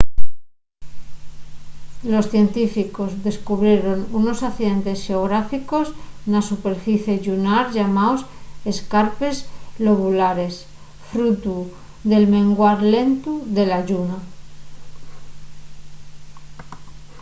los científicos descubrieron unos accidentes xeográficos na superficie llunar llamaos escarpes lobulares frutu del menguar lentu de la lluna